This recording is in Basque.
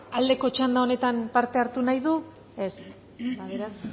aldeko txandan honetan parte hartu nahi du ez